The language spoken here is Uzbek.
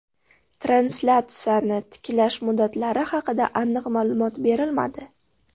Translyatsiyani tiklash muddatlari haqida aniq ma’lumot berilmadi.